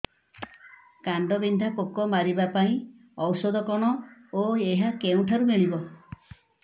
କାଣ୍ଡବିନ୍ଧା ପୋକ ମାରିବା ପାଇଁ ଔଷଧ କଣ ଓ ଏହା କେଉଁଠାରୁ ମିଳିବ